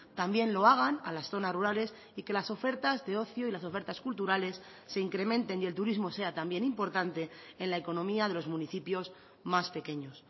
también lo hagan a las zonas rurales y que las ofertas de ocio y las ofertas culturales se incrementen y el turismo sea también importante en la economía de los municipios más pequeños